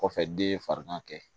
Kɔfɛ den ye farigan kɛ